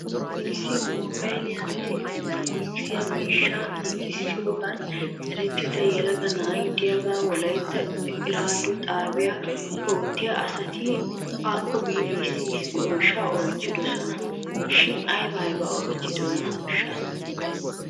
Issi moobayliyaanne eletronikse miishshata giigissiyoogan erettida yelaga na'ay diyaagaa wolaytta eraado xaabiyan oottiyaa asati akko biidi issi issi oyshata oychchidosona shin aybaa aybaa oychchiyoonaashsha?